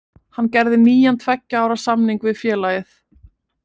Hann gerði nýjan tveggja ára samning við félagið.